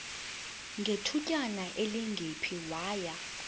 ngethutyana elingephi waya